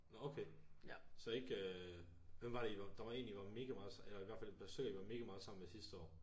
Nå okay så ikke øh hvem var det i var der var en i var mega meget eller i hvert fald besøg i var mega meget sammen med sidste år